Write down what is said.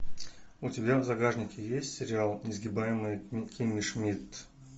у тебя в загашнике есть сериал несгибаемая кимми шмидт